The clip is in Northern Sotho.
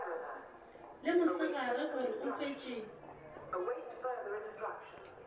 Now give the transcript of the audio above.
le mosegare gore o hwetše